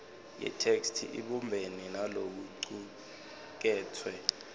yetheksthi ibumbene nalokucuketfwe